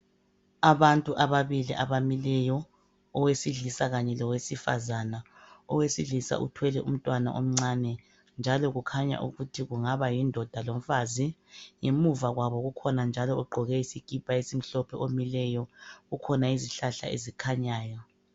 Abantu ababili abamileyo, owesilisa kanye lowesifazana. Owesilisa uthwele umntwana omncane njalo kukhanya ukuthi kungaba yindoda lomfazi. Ngemuva kwabo kukhona njalo ogqoke isikipa esimhlophe omileyo. Kukhona izihlahla ezikhanyayo.